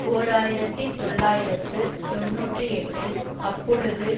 ஓர் ஆயிரத்தி தொள்ளாயிரத்து தொன்னூற்றி எட்டில் அப்பொழுது